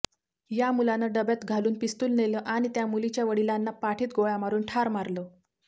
या मुलानं डब्यात घालून पिस्तुल नेलं आणि त्या मुलीच्या वडिलांना पाठीत गोळ्या मारून ठार मारलं